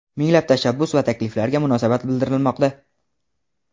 minglab tashabbus va takliflarga munosabat bildirilmoqda.